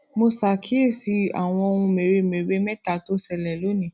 mo ṣàkíyèsí àwọn ohun mèremère méta tó ṣẹlè lónìí